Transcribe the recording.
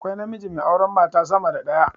Akwai namiji mai auren mata sama da daya